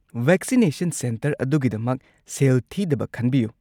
Vaccination centre ꯑꯗꯨꯒꯤꯗꯃꯛ ꯁꯦꯜ ꯊꯤꯗꯕ ꯈꯟꯕꯤꯌꯨ꯫